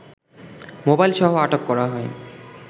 মোবাইলসহ আটক করা হয়